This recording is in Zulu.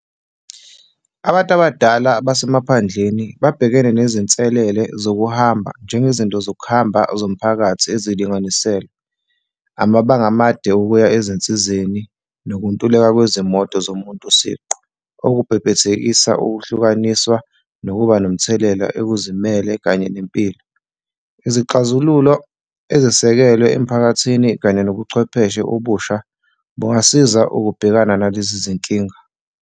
Abantu abadala basemaphandleni babhekane nezinselele zokuhamba, njengezinto zokuhamba zomphakathi ezilinganiselwe, amabanga amade okuya ezinsizeni nokuntuleka kwezimoto zomuntu siqu, okubhebhethekisa ukuhlukaniswa nokuba nomthelela okuzimele kanye nempilo. Izixazululo ezisekelwe emphakathini kanye nobuchwepheshe obusha bungasiza ukubhekana nalezi zinkinga.